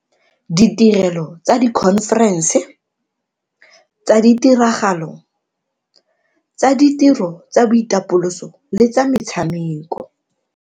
Ditirelo tsa dikhomferense, tsa ditiragalo, tsa ditiro tsa boitapoloso le tsa metshameko.